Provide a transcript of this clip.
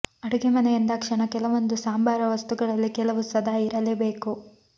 ಅಡುಗೆಮನೆ ಎಂದಾಕ್ಷಣ ಕೆಲವೊಂದು ಸಾಂಬಾರ ವಸ್ತುಗಳಲ್ಲಿ ಕೆಲವು ಸದಾ ಇರಲೇ ಬೇಕು